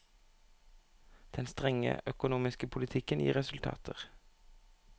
Den strenge økonomiske politikken gir resultater.